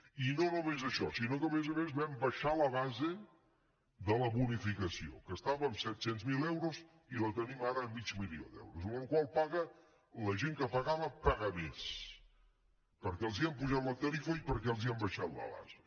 i no només això sinó que a més a més vam abaixar la base de la bonificació que estava en set cents miler euros i la tenim ara a mig milió d’euros amb la qual cosa la gent que pagava paga més perquè els hem apujat la tarifa i perquè els hem abaixat la base